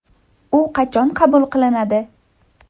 U qachon qabul qilinadi?